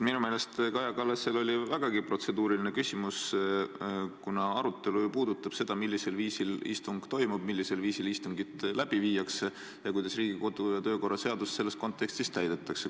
Minu meelest oli Kaja Kallasel vägagi protseduuriline küsimus, kuna arutelu ju puudutab seda, millisel viisil istung toimub, millisel viisil istungit läbi viiakse ning kuidas Riigikogu kodu- ja töökorra seadust selles kontekstis täidetakse.